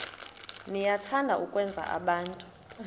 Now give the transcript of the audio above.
niyathanda ukwenza abantu